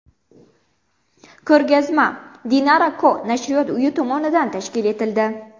Ko‘rgazma Dinara&Co nashriyot uyi tomonidan tashkil etildi.